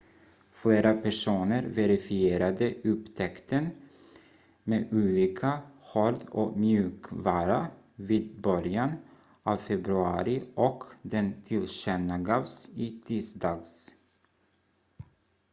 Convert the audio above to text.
flera personer verifierade upptäckten med olika hård- och mjukvara vid början av februari och den tillkännagavs i tisdags